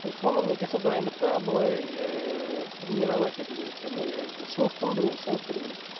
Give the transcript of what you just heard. соны мне кажется дайындықты былай ыыы тренировать ету керек шынықтыру керек